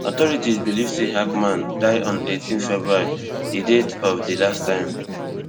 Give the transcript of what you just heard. authorities believe say hackman die on eighteen february di date of di last time